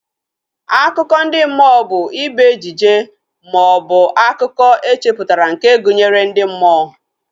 Akụkọ ndị mmụọ bụ ibe ejije maọbụ akụkọ echeputara nke gụnyere ndị mmụọ